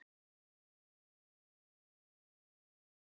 Til þeirrar ættar teljast þrjár tegundir innan tveggja ættkvísla.